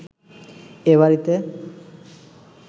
এ বাড়িতে